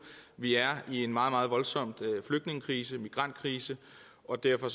vi er i en meget meget voldsom flygtningekrise migrantkrise og derfor